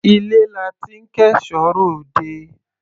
Ilé la ti ń kẹ́ṣọ̀ọ́ ròde.